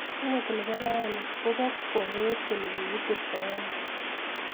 okot ne bo raini ko bo kwong kole kokiturto ano